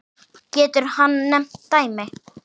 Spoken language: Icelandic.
Getur hann nefnt dæmi?